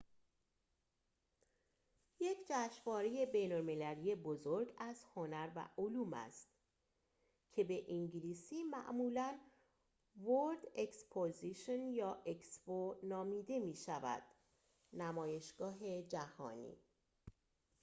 نمایشگاه جهانی که به انگلیسی معمولاً world exposition یا expo نامیده می‌شود یک جشنواره بین‌المللی بزرگ از هنر و علوم است